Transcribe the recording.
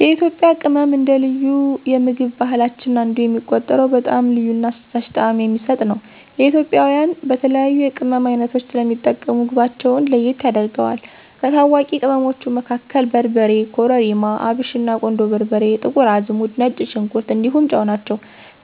የኢትዮጵያ ቅመም አንደ ልዩ የምግብ ባህላችን አንዱ የሚቆጠረው በጣም ልዩ እና አስደሳች ጣዕም የሚሰጥ ነው። ኢትዮጵያውያን በተለያዩ የቅመም ዓይነቶች ስለሚጠቀሙ ምግባቸውን ለየት ያደርገዋል። ከታዋቂ ቅመሞቹ መካከል በርበሬ, ኮረሪማ፣ አብሽና, ቁንዶ በርበሬ፣ ጥቁር አዝሙድ፣ ነጭ ሽንኩር እንዲሁም ጨው ናቸው።